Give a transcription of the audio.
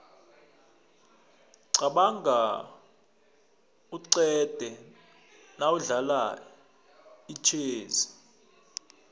qabanga uqede nawudlala itjhezi